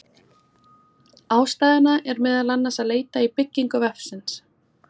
Ástæðuna er meðal annars að leita í byggingu vefsins.